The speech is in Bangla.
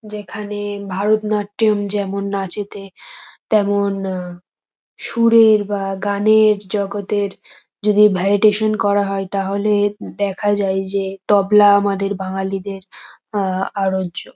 যেখানে ভারতনাট্যম যেমন নাচেতে তেমন আ সুরের বা গানের জগতের যদি ভ্যারিটেশন করা হয় তাহলে দেখা যায় যে তবলা আমাদের বাঙ্গালীদের আ আরোজ্য।